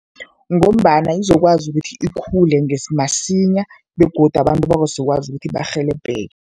Ngombana izokwazi ukuthi ikhule masinya begodu abantu bazokwazi ukuthi barhelebheke.